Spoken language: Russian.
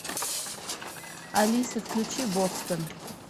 афина включи бостон